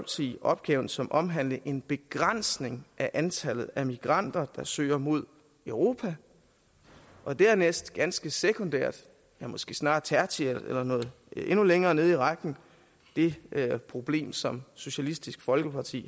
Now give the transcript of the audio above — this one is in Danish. opgaven som omhandlende en begrænsning af antallet af migranter der søger mod europa og dernæst ganske sekundært eller måske snarere tertiært eller noget endnu længere nede i rækken det problem som socialistisk folkeparti